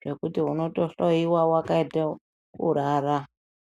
zvekuti unotohloiwe wakaite kurara.